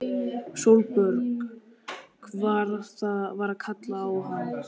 Sólborg var að kalla á hann!